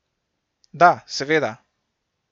Da, seveda.